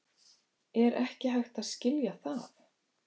Er ekki hægt að skilja það?